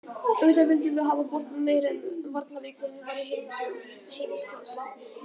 Auðvitað vildum við hafa boltann meira en varnarleikurinn var í heimsklassa.